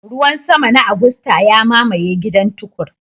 Ruwan sama na Agusta ya mamaye gidan Tukur.